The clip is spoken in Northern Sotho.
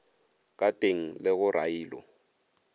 ka teng le go railo